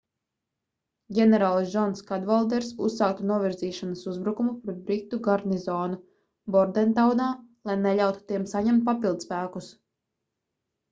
ģenerālis džons kadvalders uzsāktu novirzīšanas uzbrukumu pret britu garnizonu bordentaunā lai neļautu tiem saņemt papildspēkus